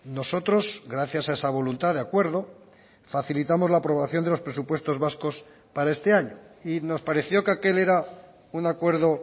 nosotros gracias a esa voluntad de acuerdo facilitamos la aprobación de los presupuestos vascos para este año y nos pareció que aquel era un acuerdo